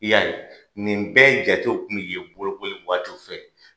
I y'a ye, nin bɛɛ jatew kun bɛ ye bolokoliw waatiw fɛ.